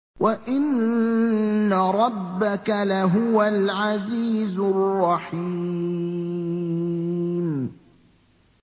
وَإِنَّ رَبَّكَ لَهُوَ الْعَزِيزُ الرَّحِيمُ